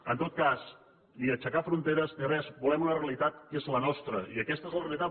en tot cas ni aixecar fronteres ni res volem una realitat que és la nostra i aquesta és la realitat